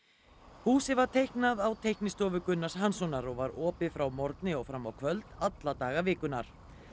húsið var teiknað á teiknistofu Gunnars Hanssonar og var opið frá morgni og fram á kvöld alla daga vikunnar